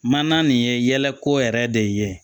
Mana nin ye yɛlɛko yɛrɛ de ye